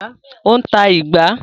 Ó ń ta “ìgbá”.